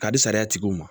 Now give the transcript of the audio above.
Ka di sariya tigiw ma